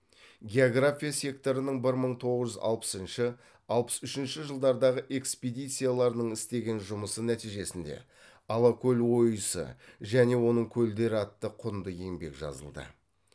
география секторының бір мың тоғыз жүз алпысыншы алпыс үшінші жылдардағы экспедицияларының істеген жұмысы нәтижесінде алакөл ойысы және оның көлдері атты құнды еңбек жазылды